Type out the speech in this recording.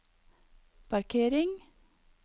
parkering